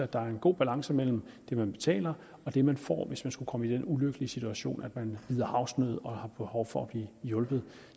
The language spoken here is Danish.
der er en god balance mellem det man betaler og det man får hvis man skulle komme i den ulykkelige situation at man lider havsnød og har behov for at blive hjulpet